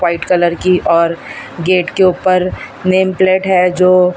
white colour की और gate के ऊपर नेम प्लेट है जो--